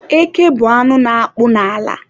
Eke bụ anụ na-akpụ n'ala